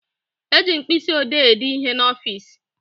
Eji mkpịsịodee ede ihe n'ọfịsi